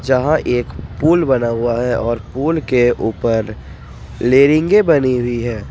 जहां एक पुल बना हुआ है और पुल के ऊपर लेयरिंगे बनी हुई है ।